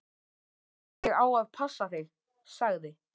Ég á að passa þig, sagði